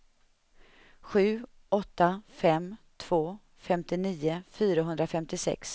sju åtta fem två femtionio fyrahundrafemtiosex